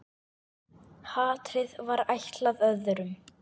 Hatrið var ætlað öðrum.